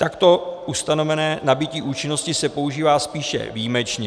Takto ustanovené nabytí účinnosti se používá spíše výjimečně.